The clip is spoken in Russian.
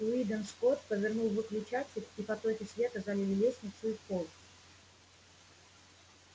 уидон скотт повернул выключатель и потоки света залили лестницу и холл